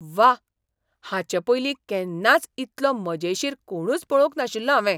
व्वा! हाचेपयलीं केन्नाच इतलो मजेशीर कोणूच पळोवंक नाशिल्लो हांवें!